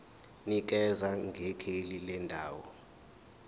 nikeza ngekheli lendawo